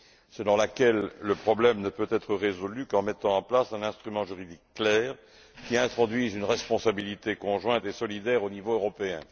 selon laquelle le problème ne peut être résolu qu'en mettant en place un instrument juridique clair, qui introduit une responsabilité conjointe et solidaire au niveau européen.